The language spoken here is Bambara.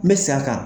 N bɛ segin a kan